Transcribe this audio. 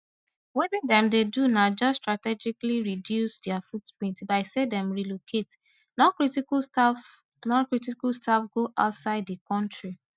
wetin dem dey do na just strategically reduce dia footprint by say dem relocate noncritical staff noncritical staff go outside di kontri